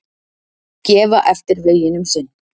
Gefa eftir veginn um sinn